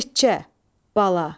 Becə, bala.